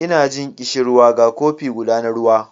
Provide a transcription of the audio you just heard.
Ina jin ƙishirwa ga kofi guda na ruwa